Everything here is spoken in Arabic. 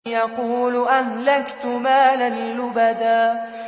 يَقُولُ أَهْلَكْتُ مَالًا لُّبَدًا